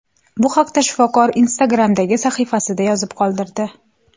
Bu haqda shifokor Instagram’dagi sahifasida yozib qoldirdi .